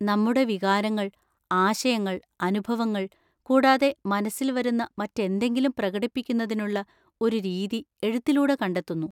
നമ്മുടെ വികാരങ്ങൾ, ആശയങ്ങൾ, അനുഭവങ്ങൾ, കൂടാതെ മനസ്സിൽ വരുന്ന മറ്റെന്തെങ്കിലും പ്രകടിപ്പിക്കുന്നതിനുള്ള ഒരു രീതി എഴുത്തിലൂടെ കണ്ടെത്തുന്നു.